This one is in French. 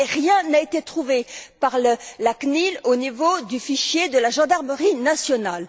et rien n'a été trouvé par la CNIL au niveau du fichier de la gendarmerie nationale.